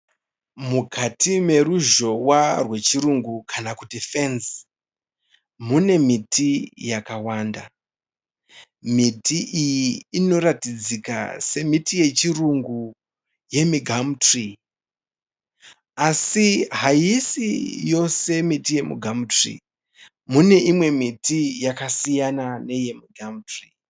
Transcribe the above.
Mukati meruzhowa rwechirungu kana kuti fenzi mune miti yakawanda. Miti iyi inoratidzika iri yechirungu yemugamutirii mune imwe miti yakasiyana neyemu gamutirii.